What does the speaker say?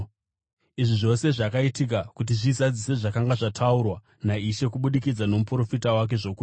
Izvi zvose zvakaitika kuti zvizadzise zvakanga zvataurwa naIshe kubudikidza nomuprofita wake zvokuti: